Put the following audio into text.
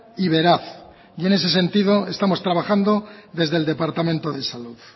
y veraz y en ese sentido estamos trabajando desde el departamento de salud